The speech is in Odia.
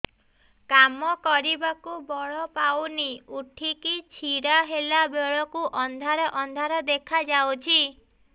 କାମ କରିବାକୁ ବଳ ପାଉନି ଉଠିକି ଛିଡା ହେଲା ବେଳକୁ ଅନ୍ଧାର ଅନ୍ଧାର ଦେଖା ଯାଉଛି